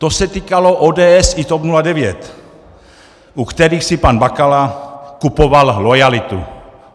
To se týkalo ODS i TOP 09, u kterých si pan Bakala kupoval loajalitu.